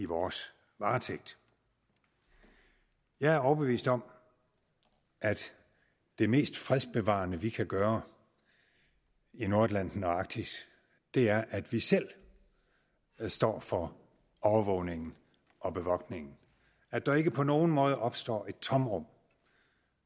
vores varetægt jeg er overbevist om at det mest fredsbevarende vi kan gøre i nordatlanten og i arktis er at vi selv står for overvågningen og bevogtningen at der ikke på nogen måde opstår et tomrum